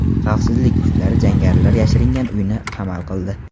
Xavfsizlik kuchlari jangarilar yashiringan uyni qamal qildi.